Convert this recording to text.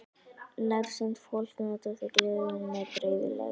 Nærsýnt fólk notar því gleraugu með dreifigleri.